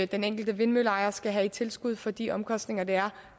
den enkelte vindmølleejer skal have i tilskud for de omkostninger der er